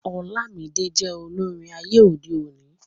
Olamide jẹ olórin ayé òde òni